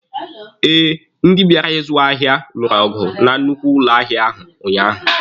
Eh, ndị bịara ịzụ ahịa lụrụ ọgụ na nnukwu ụlọ ahịa ahụ unyaahụ.